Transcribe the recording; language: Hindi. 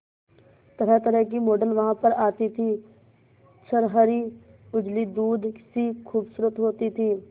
तरहतरह की मॉडल वहां पर आती थी छरहरी उजली दूध सी खूबसूरत होती थी